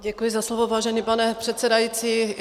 Děkuji za slovo, vážený pane předsedající.